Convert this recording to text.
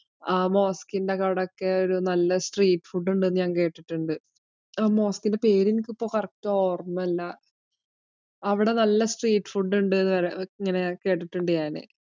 ആഹ് mosque ഇന്റെ അവിടെ ഒക്കെ ഒരു നല്ല street ഫുഡ് ഉണ്ടെന്നു ഞാൻ കേട്ടിട്ടുണ്ട്. അഹ് mosque ഇന്റെ പേര് ഇപ്പോ എനിക്ക് correct ഓർമയില്ല. അവിടെ നല്ല street ഫുഡ് ഉണ്ടെന്നു ഇങ്ങനെ ഞാൻ കേട്ടിട്ടുണ്ട്.